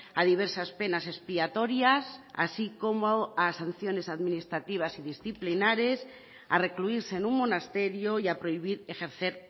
a diversas penas expiatorias así como a sanciones administrativas y disciplinares a recluirse en un monasterio y a prohibir ejercer